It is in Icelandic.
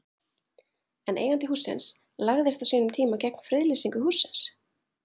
En eigandi hússins lagðist á sínum tíma gegn friðlýsingu hússins?